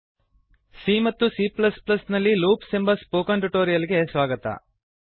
c ಮತ್ತು c ನಲ್ಲಿ loops ಎಂಬ ಟ್ಯುಟೋರಿಯಲ್ ಗೆ ಸ್ವಾಗತ